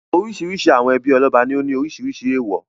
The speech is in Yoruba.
Oríṣiríṣi àwọn ẹbí ọlọ́ba ní ó ní oríṣiríṣi èèwọ̀.